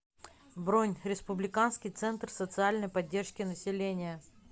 бронь республиканский центр социальной поддержки населения